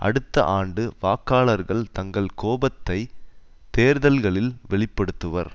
அடுத்த ஆண்டு வாக்காளர்கள் தங்கள் கோபத்தை தேர்தல்களில் வெளிப்படுத்துவர்